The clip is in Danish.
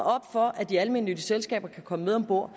for at de almennyttige selskaber kan komme med om bord